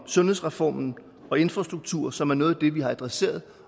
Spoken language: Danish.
sundhedsreformen og infrastrukturen som er noget af det vi har adresseret